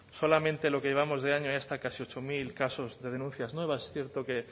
solamente en lo que llevamos de año hay hasta casi ocho mil casos de denuncias nuevas es cierto que